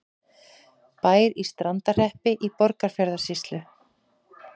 Bær í Strandarhreppi í Borgarfjarðarsýslu.